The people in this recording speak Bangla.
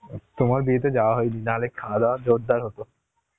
তোমার বিয়েতে যাওয়া হয়নি, না হলে খাওয়া দাওয়া জোরদার হত